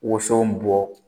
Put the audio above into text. Woso bɔ